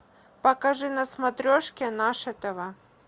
покажи на смотрешке наше тв